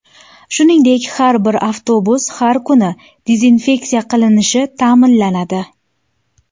Shuningdek, har bir avtobus har kuni dezinfeksiya qilinishi ta’minlanadi.